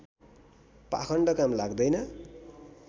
पाखण्ड काम लाग्दैन